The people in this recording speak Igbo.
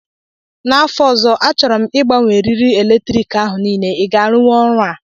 N'afọ ọzọ, achọrọ m ịgbanwe eriri eletriki ahụ niile, ị ga-arụwu ọrụ a?